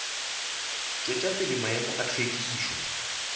tšwetša pele maemo a hlwekišo